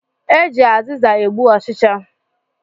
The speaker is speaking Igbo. E ji azịza egbu ọ̣chịchị